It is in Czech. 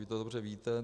Vy to dobře víte.